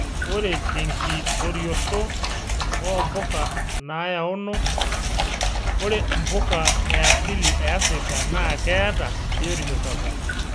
Ore tenkitorioto oo mpuka naayaono, ore mpuka e asili e Afrika naa keeta biotisho sapuk.